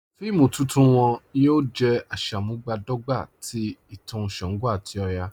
Fíìmù tuntun wọn yóò jẹ̀ àṣàmúbadọ́gbà tì ìtàn ṣàngó àti ọ̀yà.